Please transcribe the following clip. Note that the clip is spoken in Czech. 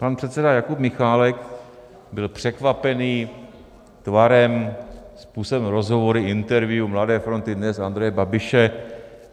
Pan předseda Jakub Michálek byl překvapen tvarem, způsobem rozhovoru, interview Mladé fronty DNES Andreje Babiše.